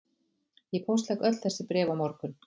Ég póstlegg öll þessi bréf á morgun